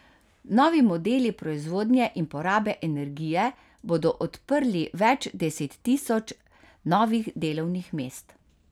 Novi modeli proizvodnje in porabe energije bodo odprli več deset tisoč novih delovnih mest.